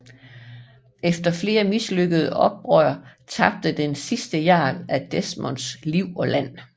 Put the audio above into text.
Efter flere mislykkede oprør tabte den sidste jarl af Desmond liv og land